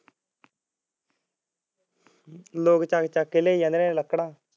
ਲੋਕ ਚੱਕ ਚੱਕ ਕੇ ਲਿਆਈ ਜਾਂਦੇ ਨੇ ਲੱਕੜਾ